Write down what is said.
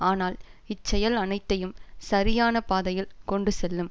ஆனால் இச்செயல் அனைத்தையும் சரியான பாதையில் கொண்டு செல்லும்